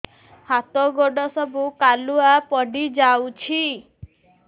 ହାତ ଗୋଡ ସବୁ କାଲୁଆ ପଡି ଯାଉଛି